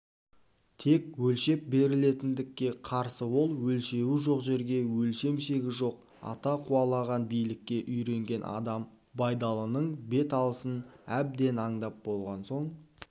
тек өлшеп берілетіндікке қарсы ол өлшеуі жоқ жерге өлшем-шегі жоқ ата қуалаған билікке үйренген адам байдалының бет алысын әбден аңдап болған соң